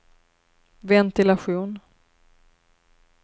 ventilation